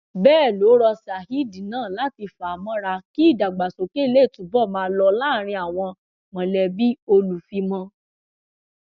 bẹẹ ló rọ saheed náà láti fà á mọra kí ìdàgbàsókè lè túbọ máa lọ láàrin àwọn mọlẹbí olùfìmọ